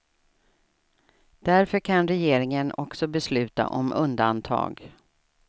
Därför kan regeringen också besluta om undantag.